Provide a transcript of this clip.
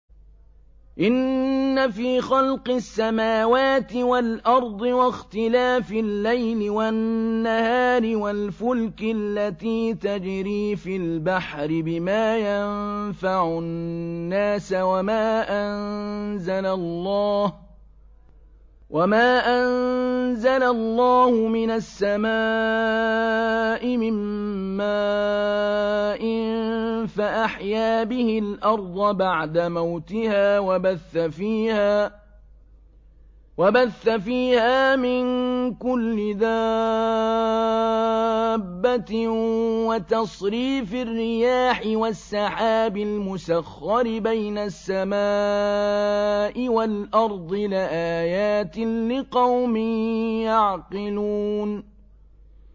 إِنَّ فِي خَلْقِ السَّمَاوَاتِ وَالْأَرْضِ وَاخْتِلَافِ اللَّيْلِ وَالنَّهَارِ وَالْفُلْكِ الَّتِي تَجْرِي فِي الْبَحْرِ بِمَا يَنفَعُ النَّاسَ وَمَا أَنزَلَ اللَّهُ مِنَ السَّمَاءِ مِن مَّاءٍ فَأَحْيَا بِهِ الْأَرْضَ بَعْدَ مَوْتِهَا وَبَثَّ فِيهَا مِن كُلِّ دَابَّةٍ وَتَصْرِيفِ الرِّيَاحِ وَالسَّحَابِ الْمُسَخَّرِ بَيْنَ السَّمَاءِ وَالْأَرْضِ لَآيَاتٍ لِّقَوْمٍ يَعْقِلُونَ